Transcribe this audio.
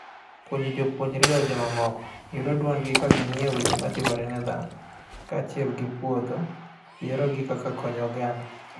Puonjo jopuonjre dewo jomamoko, yudo duondgi ka ging'io weche matimore ne dhano. Kaachiel gi puodho yiero gi kaka konyo oganda.